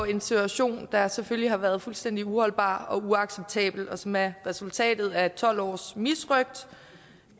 en situation der selvfølgelig har været fuldstændig uholdbar og uacceptabel og som er resultatet af tolv års misrøgt